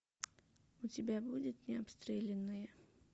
у тебя будет необстрелянные